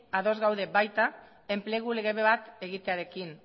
ados gaude baita enplegu lege bat egitearekin